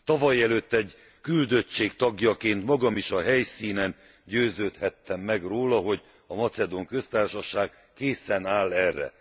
Tavalyelőtt egy küldöttség tagjaként magam is a helyszínen győződhettem meg róla, hogy a Macedón Köztársaság készen áll erre.